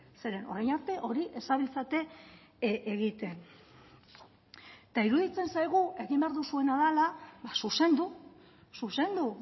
zeren orain arte hori ez zabiltzate egiten eta iruditzen zaigu egin behar duzuena dela zuzendu zuzendu